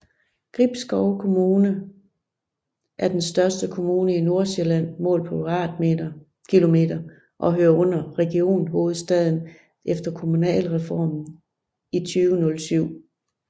Gribskov Kommune er den største kommune i Nordsjælland målt på km² og hører under Region Hovedstaden efter Kommunalreformen i 2007